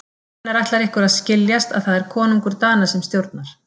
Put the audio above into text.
Hvenær ætlar ykkur að skiljast að það er konungur Dana sem stjórnar.